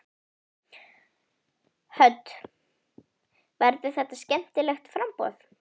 Hödd: Verður þetta skemmtilegt framboð?